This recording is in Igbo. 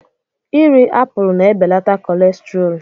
Irí apụl na-ebelata kọlesterọọl.